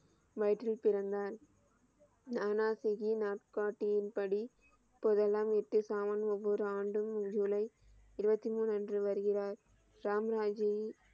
வயிற்றில் பிறந்தார் நானாசிஜியின் நாட்காட்டியின் படி போதெல்லாம் எட்டு சாமான் ஒவ்வொரு ஆண்டும் ஜூலை இருபத்தி மூன்று அன்று வருகிறார் ராம் ராகியின்,